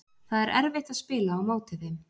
Það er erfitt að spila á móti þeim.